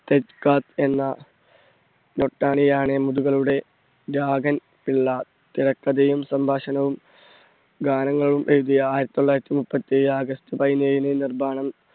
എന്ന രാഗൻ പിള്ള തിരക്കഥയും, സംഭാഷണവും, ഗാനങ്ങളും എഴുതിയ ആയിരത്തി തൊള്ളായിരത്തി മുപ്പത്തെഴ് august പതിനേഴിന് നിർമ്മാണം